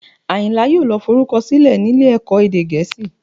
Àyìnlá yóò lọ forúkọ sílẹ̀ nílé ẹ̀kọ́ èdè Gẹ̀ẹ́sì